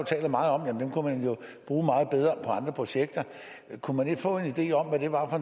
taler meget om kunne man jo bruge meget bedre på andre projekter kunne man ikke få en idé om hvad det var for